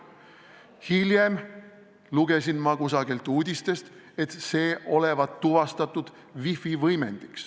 Hiljem lugesin kusagilt uudistest, et see olevat tuvastatud wifi võimendina.